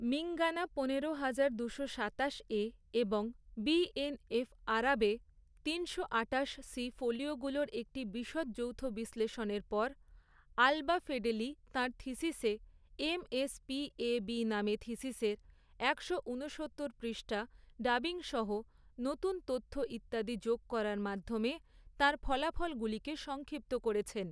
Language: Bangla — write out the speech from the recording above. মিঙ্গানা পনেরো হাজার দুশো সাতাশে, এবং বিএনএফ আরাবে, তিনশো আঠাশ সি ফোলিওগুলোর একটি বিশদ যৌথ বিশ্লেষণের পর, আলবা ফেডেলি তাঁর থিসিসে, এমএস পিএবি নামে থিসিসের, একশো ঊনসত্তর পৃষ্ঠা ডাবিংসহ, নতুন তথ্য ইত্যাদি যোগ করার মাধ্যমে, তাঁর ফলাফলগুলিকে সংক্ষিপ্ত করেছেন।